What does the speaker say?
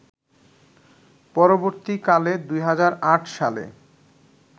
পরবর্তীকালে ২০০৮ সালে